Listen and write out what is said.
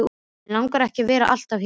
Mig langar ekki að vera alltaf hér.